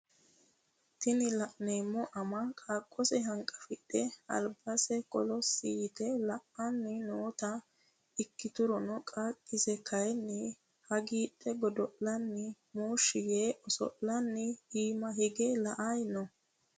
tini la'neemo ama qaaqose hanqafidhe albase kolossi yite la"anni noota ikkiturono qaaqise kayiini hagiidhe godo'lanni mushshi yee oso'lanni iima hige la"ayii no.